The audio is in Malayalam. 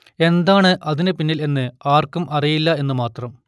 എന്താണ് അതിനു പിന്നിൽ എന്ന് ആർക്കും അറിയില്ല എന്നും മാത്രം